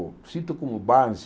Sinto como base...